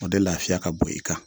O de lafiya ka bon i kan.